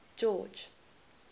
george